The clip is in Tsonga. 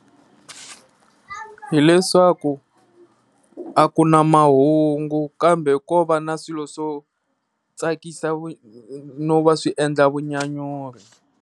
Hi leswaku a ku na mahungu kambe ko va na swilo swo tsakisa vu no va swi endla vunyanyuri.